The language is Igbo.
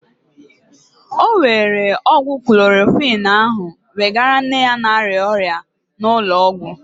Ọ were ọgwụ klorokwin ahụ wegara nne ya na-arịa ọrịa n'ụlọ ọgwụ.